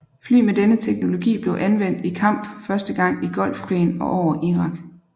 Fly med denne teknologi blev anvendt i kamp første gang i Golfkrigen og over Irak